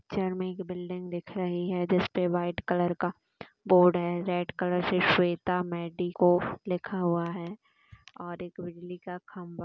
घर मे एक बिल्डिंग दिख रही है जिसपे व्हाइट कलर का बोर्ड है रेड कलर से श्वेता मेडिको लिखा हुआ है और एक बिजली का खंभा--